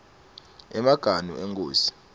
emaganu enkhosi